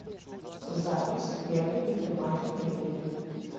запись первый гипермаркет мебели